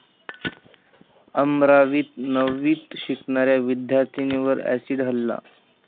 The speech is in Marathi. अमरावीत नववीत शिकणाऱ्या विद्यार्थिनीवर अॅसिड हल्ला